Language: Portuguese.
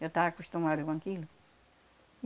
Eu tava acostumada com aquilo.